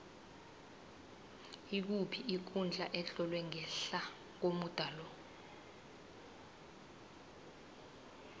ikuphi ikundla etlolwe ngehla komuda lo